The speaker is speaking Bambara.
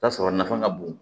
Ta sɔrɔ nafa ka bon